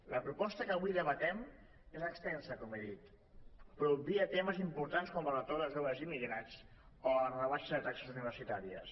la proposta que avui debatem és extensa com he dit però obvia temes importants com el retorn dels joves immigrats o la rebaixa de taxes universitàries